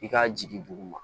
I k'a jigin duguma